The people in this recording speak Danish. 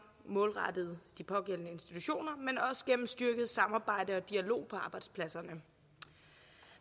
målrettet de pågældende institutioner men også gennem styrket samarbejde og dialog på arbejdspladserne